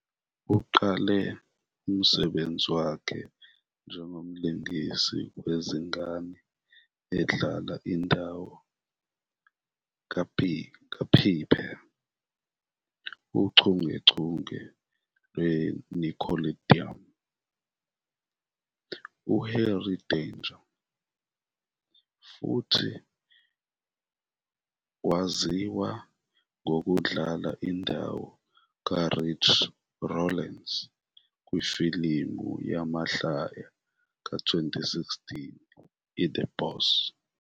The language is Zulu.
Uqale umsebenzi wakhe njengomlingisi wezingane, edlala indawo kaPiper ochungechungeni lweNickelodeon "uHenry Danger",futhi waziwa ngokudlala indawo kaRachel Rawlings kwifilimu yamahlaya ka-2016 "iThe Boss".